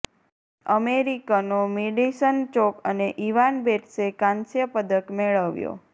અમેરિકનો Madison Chock અને Evan બેટ્સે કાંસ્ય પદક મેળવ્યો